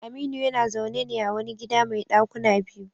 Aminu yana zaune ne a wani gida mai dakuna biyu.